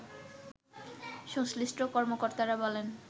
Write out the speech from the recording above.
সংশ্লিষ্ট কর্মকর্তারা বলেন